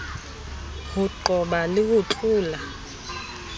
ho qoba le ho tlola